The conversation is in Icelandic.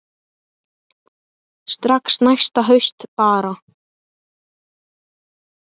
Strax næsta haust bara.